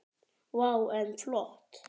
Vá, en flott.